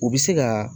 U bɛ se ka